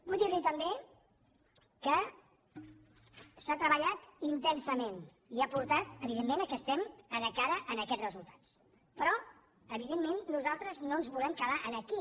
vull dir li també que s’ha treballat intensament i ha portat evidentment que estem encara en aquests resultats però evidentment nosaltres no ens volem quedar aquí